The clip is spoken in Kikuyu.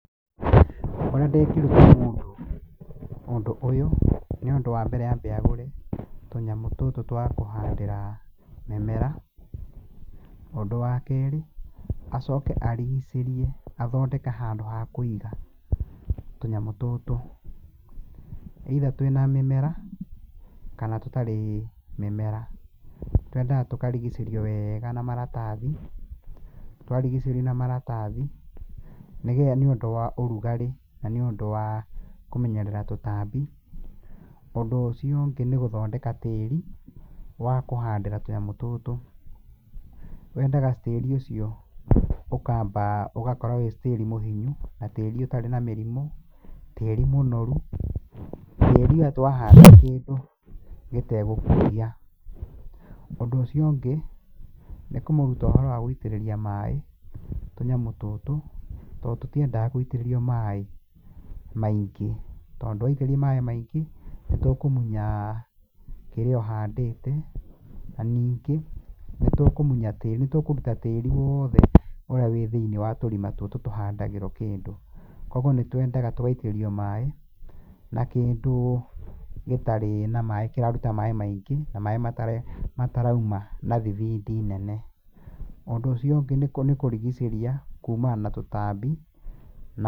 Ũria ndingĩruta mũndũ ũndũ ũyũ, nĩ ũndũ wa mbere ambe agũre tũnyamũ tũtũ twa kũhandĩra mĩmera. Ũndũ wa kerĩ acoke arigicĩrie, athondeke handũ ha kũiga tũnyamũ tũtũ, either twĩ na mĩmera kana tũtarĩ mĩmera, twendaga tũkarigicĩrio wega na maratathi. Twarigicĩrio na maratathi, nĩgetha nĩũndũ wa ũrugarĩ, na nĩũndũ wa kũmenyerera tũtambi. Ũndũ ũcio ũngĩ nĩ gũthondeka tĩri wa kũhandĩra tũnyamũ tũtũ. Wendaga tĩrĩ ũcio ũkamba, ũgakorwo wĩ tĩri mũhinyu, na tĩri ũtarĩ na mĩrimũ, tĩri mũnoru, tĩri atĩ wahanda kĩndũ gĩtegũkũgia. Ũndũ ũcio ũngĩ, nĩ kũmũruta ũhoro wa gũitĩrĩria maĩ tũnyamũ tũtũ, tondũ tũtiendaga gũitĩrĩrio maĩ maingĩ. Tondũ waitĩrĩria maĩ maingĩ nĩtũkũmunya kĩrĩa ũhandĩte, na ningĩ nĩtũkũmunya tĩri, nĩtũkũruta tĩri wothe ũrĩa wĩ thĩiniĩ wa tũrima tũtũ tũhandagĩrwo kĩndũ. Koguo nĩtwendaga tũgaitĩrĩrio maĩ na kĩndũ gĩtarĩ na maĩ, kĩraruta maĩ maingĩ na maĩ matarauma na thibindi nene. Ũndũ ũcio ũngĩ nĩ kũrigicĩria kumana na tũtambi na...